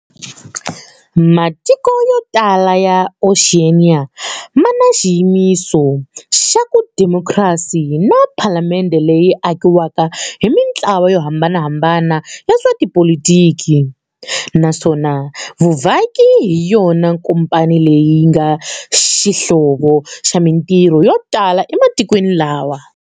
Matiko yotala ya Oxiyeniya mana xiyimiso xavu demokhrasi na Phalamendhe leyi akiwaka hi mintlawa yohambanahambana ya swa tipolitiki, naswona vuvhaki hiyona nkomponi leyi nga xihlovo xa mintirho yotala ematikweni lawa.